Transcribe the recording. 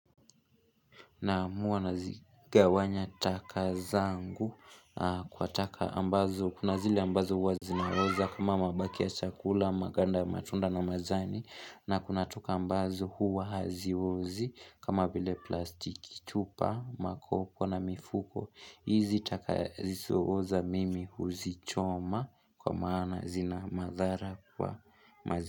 Naamua nazigawanya taka zangu kwa taka ambazo kuna zile ambazo huwa zinaoza kama mabaki ya chakula maganda matunda na majani na kuna taka ambazo huwa haziozi kama vile plastiki chupa makoko na mifuko hizi taka zisioza mimi huzichoma kwa maana zina madhara kwa mazi.